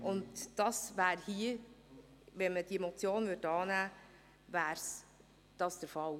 Würde diese Motion angenommen, wäre dies der Fall.